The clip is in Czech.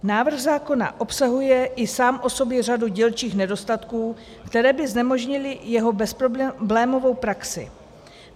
Návrh zákona obsahuje i sám o sobě řadu dílčích nedostatků, které by znemožnily jeho bezproblémovou praxi.